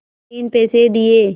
तीन पैसे दिए